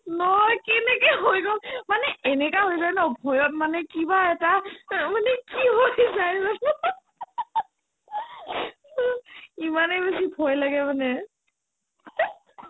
নহয় কেনেকে হৈ গ'ল মানে এনেকা হৈ যায় ন ভয়ত মানে কিবা এটা অ মানে কি হৈ যায় জানো ইমানে বেছি ভয় লাগে মানে